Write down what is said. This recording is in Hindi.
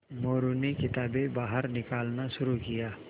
मोरू ने किताबें बाहर निकालना शुरू किया